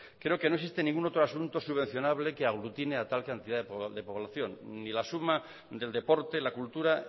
creo que no existe ningún otro asunto subvencionable que aglutine a tal cantidad de población ni la suma del deporte la cultura